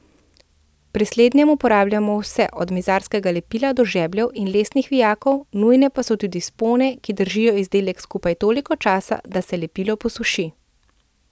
Pri slednjem uporabljamo vse od mizarskega lepila do žebljev in lesnih vijakov, nujne pa so tudi spone, ki držijo izdelek skupaj toliko časa, da se lepilo posuši.